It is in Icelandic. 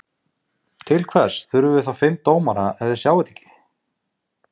Til hvers þurfum við þá fimm dómara ef þeir sjá þetta ekki?